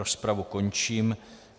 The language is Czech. Rozpravu končím.